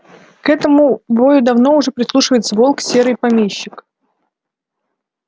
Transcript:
к этому вою давно уже прислушивается волк серый помещик